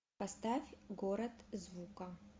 поставь город звука